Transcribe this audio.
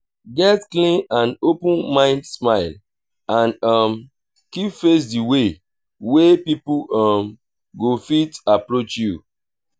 get clean and open mind smile and um keep face di way wey pipo um go fit approach you